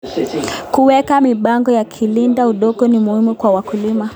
Kuweka mipango ya kulinda udongo ni muhimu kwa wakulima.